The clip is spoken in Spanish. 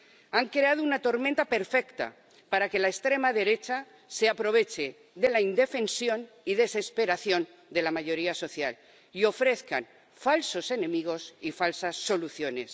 Han creado una tormenta perfecta para que la extrema derecha se aproveche de la indefensión y desesperación de la mayoría social y ofrezca falsos enemigos y falsas soluciones.